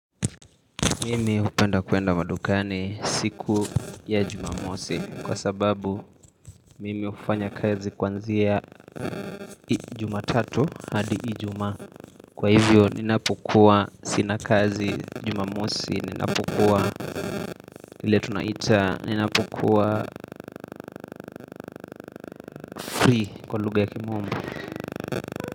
Mimi upenda kuenda madukani siku ya jumamosi kwa sababu mimi ufanya kazi kuanzia ijumatatu hadi ijumaa Kwa hivyo ninapokua sina kazi jumamosi, ninapokua ile tunaita, ninapokua free kwa lugha ya kimombo.